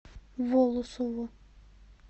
волосово